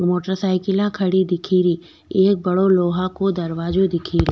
Motorcycle खाड़ी दिखेरो लोहा को दरवाजो दिखेरी।